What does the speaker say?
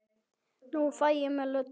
Nú fæ ég mér Lödu.